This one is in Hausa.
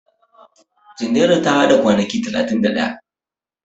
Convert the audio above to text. Junairu ta a da kwanaki talatin da ɗaya.